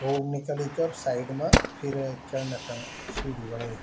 रोड निकली चा अर साइड मा फिर चड़ना खण सीडी बणयीं।